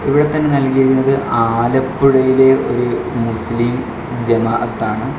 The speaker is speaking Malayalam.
ഇവിടെത്തന്നെ നൽകിയിരിക്കുന്നത് ആലപ്പുഴയിലെ ഒരു മുസ്ലിം ജമാഅത്ത് ആണ്.